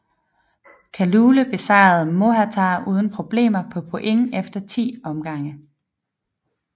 Kalule besejrede Mohatar uden problemer på point efter 10 omgange